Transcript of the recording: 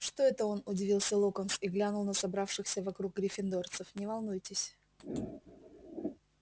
что это он удивился локонс и глянул на собравшихся вокруг гриффиндорцев не волнуйтесь